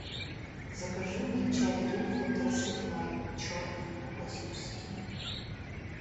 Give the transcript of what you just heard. закажи мне чай гринфилд рассыпной черный классический